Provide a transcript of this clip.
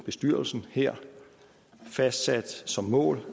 bestyrelsen her fastsat som mål